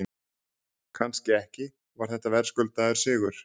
Kannski ekki Var þetta verðskuldaður sigur?